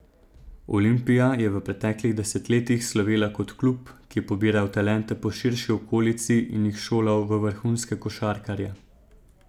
Olimpija je v preteklih desetletjih slovela kot klub, ki je pobiral talente po širši okolici in jih šolal v vrhunske košarkarje.